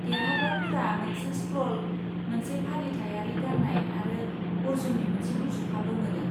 देरहाग्राफोरा मोनसे स्क्र'ल, मोनसे फालिथायारि गाननाय आरो अर्जुननि मोनसे मुसुखाबो मोनो।